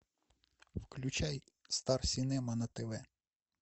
включай стар синема на тв